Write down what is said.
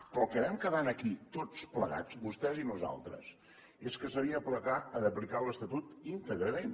però en el que vam quedar aquí tots plegats vostès i nosaltres és que s’havia d’aplicar l’estatut íntegrament